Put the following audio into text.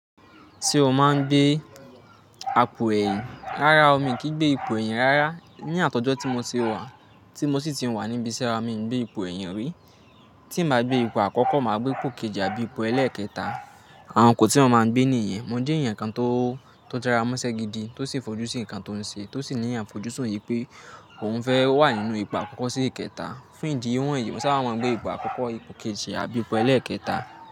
Tí o máa ń gbé ipò ẹyìn? Rárá o, mi kì í gbé ipò ẹ̀yìn rárá. Ni àtọjọ́ tí mo ti wà, tí mo sì ti wà ní ibi ise wa, mi ò gbé ipò ẹ̀yìn rí. Tí mio bá gbé ipò àkọ́kọ́, màá gbé ipò kejì tàbí ipò ẹlẹ́ẹ̀kẹta. Àwọn ipò tí mo máa ń gbé nìyẹn. Mo jẹ́ èèyàn kan tó, jára mọ́ṣẹ́ gidi tó sì fojú sí nǹkan tó ń ṣe, tó sì ní àfọjúsùn wipé òun fẹ́ wà nínú ipò àkọ́kọ́ sí ìkẹta. Fún ìdí wọ̀nyí, mo sáábà máa ń gbé ipò àkọ́kọ́, ipò kejì àbí ipò ẹlẹ́ẹ̀kẹta.